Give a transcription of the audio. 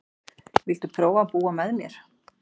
Viltu prófa að búa með mér.